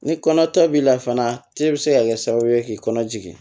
Ni kɔnɔ ta b'i la fana te bɛ se ka kɛ sababu ye k'i kɔnɔ jigin